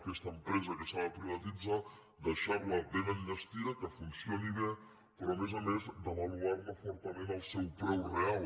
aquesta empresa que s’ha de privatitzar deixar la ben enllestida que funcioni bé però a més a més devaluar ne fortament el seu preu real